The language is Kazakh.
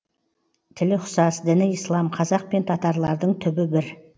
тілі ұқсас діні ислам қазақ пен татарлардың түбі бір